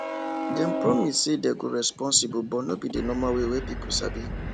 dem promise say dem go responsible but no be the normal way wey people sabi